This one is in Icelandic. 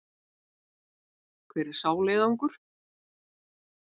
Hver er sá leiðangur?